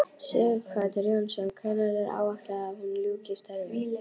Sighvatur Jónsson: Hvenær er áætlað að hún ljúki störfum?